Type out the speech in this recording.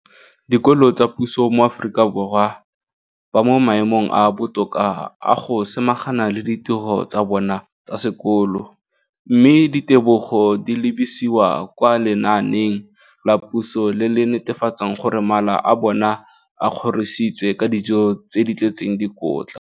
dikolo tsa puso mo Aforika Borwa ba mo maemong a a botoka a go ka samagana le ditiro tsa bona tsa sekolo, mme ditebogo di lebisiwa kwa lenaaneng la puso le le netefatsang gore mala a bona a kgorisitswe ka dijo tse di tletseng dikotla.